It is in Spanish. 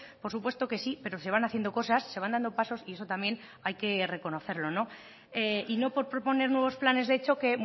por supuesto que sí pero se van haciendo cosas se van dando pasos y eso también hay que reconocerlo y no por proponer nuevos planes de choque